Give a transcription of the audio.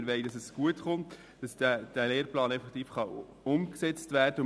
Wir wollen, dass es gut kommt und der Lehrplan 21 umgesetzt werden kann.